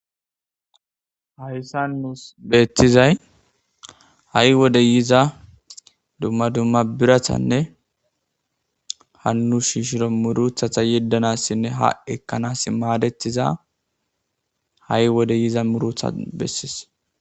Hayssa nuus beettizay ha'i wode yiza dumma dumma birathanne hannu shiishiro muruthatha yeddanassinne haekkanas maadetiza ha'i wode yiza murotha bessis.